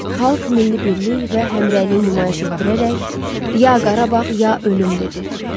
Xalq milli birlik və həmrəylik nümayiş etdirərək, “Ya Qarabağ, ya ölüm” dedi.